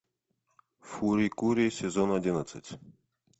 фури кури сезон одиннадцать